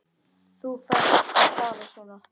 Þér ferst að tala svona!